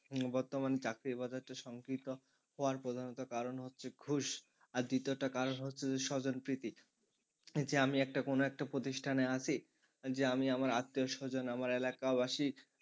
বর্তমান চাকরির বাজারটা সংকীর্ণ হওয়ার প্রধানত কারণ হচ্ছে ঘুষ আর দ্বিতীয়টা কারণ হচ্ছে যে স্বজনপ্রীতি। এই যে আমি একটা কোন একটা প্রতিষ্ঠানে আছি যে আমি আমার আত্মীয়স্বজন আমার এলাকাবাসী,